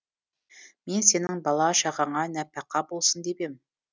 мен сенің бала шағаңа нәпақа болсын деп ем